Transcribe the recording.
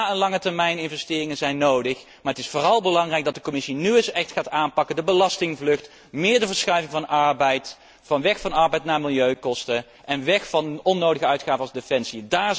is. Ja, langetermijninvesteringen zijn nodig, maar het is vooral belangrijk dat de Commissie nu een echt zaken gaat aanpakken als de belastingvlucht, meer de verschuiving van belastingen, weg van arbeid naar milieukosten, en weg van onnodige uitgaven als defensie.